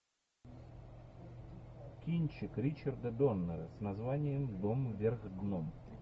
кинчик ричарда доннера с названием дом вверх дном